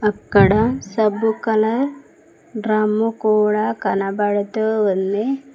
అక్కడ సబ్బు colour drum కూడా కనబడుతూ ఉంది.